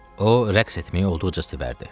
O rəqs etməyi olduqca sevərdi.